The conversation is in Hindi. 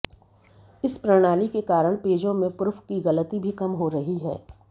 इस प्रणाली के कारण पेजों में प्रुफ की गलती भी कम हो रही है